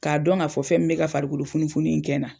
K'a dɔn ŋ'a fɔ fɛn min bɛ ka farikolo funufunun in kɛ na.